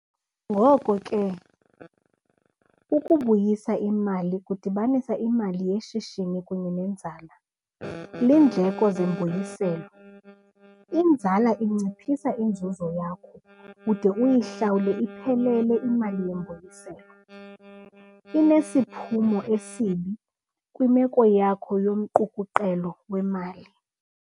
Ngoko ke, ukubuyisa imali kudibanisa imali yeshishini kunye nenzala. Iindleko zembuyiselo inzala inciphisa inzuzo yakho ude uyihlawule iphelele imali yembuyiselo, inesiphumo esibi kwimeko yakho yomqukuqelo wemali.